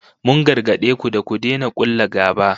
Mun gargade ku da ku daina kulla gaba